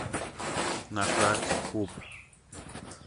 на карте куб